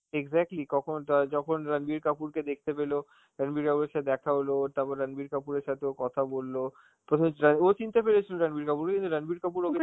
exactly কখন টয়~ যখন রাণবির কাপুর কে দেখতে পেল, রাণবির কাপুরের সাথে দেখা হল, তারপরে রাণবির কাপুরের সাথে ও কথা বলল, প্রযোজ্য~ ও চিনতে পেরেছিল রাণবির কাপুরকে কিন্তু রাণবির কাপুর ওকে